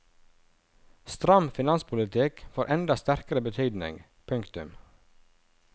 Stram finanspolitikk får enda sterkere betydning. punktum